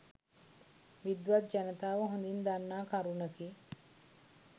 විද්වත් ජනතාව හොඳින් දන්නා කරුණකි.